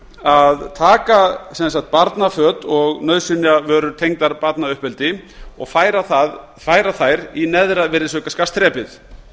að taka barnaföt og nauðsynjavörur tengdar barnauppeldi og færa þær í neðra virðisaukaskattsþrepið